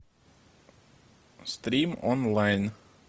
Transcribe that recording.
стрим онлайн